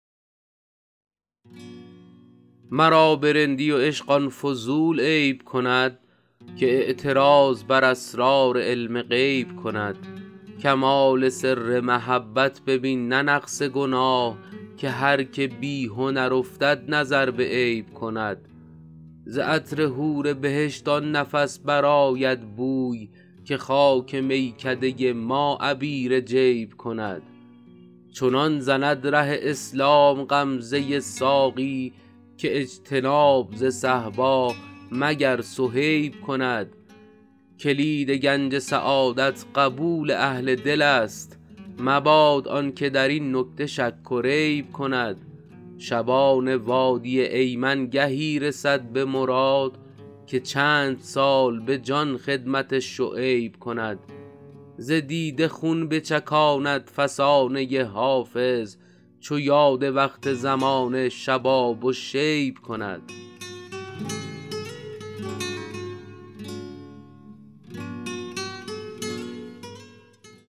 مرا به رندی و عشق آن فضول عیب کند که اعتراض بر اسرار علم غیب کند کمال سر محبت ببین نه نقص گناه که هر که بی هنر افتد نظر به عیب کند ز عطر حور بهشت آن نفس برآید بوی که خاک میکده ما عبیر جیب کند چنان زند ره اسلام غمزه ساقی که اجتناب ز صهبا مگر صهیب کند کلید گنج سعادت قبول اهل دل است مباد آن که در این نکته شک و ریب کند شبان وادی ایمن گهی رسد به مراد که چند سال به جان خدمت شعیب کند ز دیده خون بچکاند فسانه حافظ چو یاد وقت زمان شباب و شیب کند